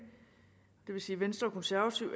det vil sige venstre og konservative